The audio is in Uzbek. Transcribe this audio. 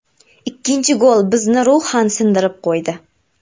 Ikkinchi gol bizni ruhan sindirib qo‘ydi.